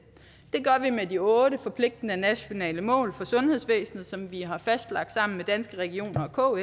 gør vi med de otte forpligtende nationale mål for sundhedsvæsenet som vi har fastlagt sammen med danske regioner og